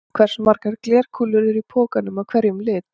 Hversu margar glerkúlur eru í pokanum af hverjum lit?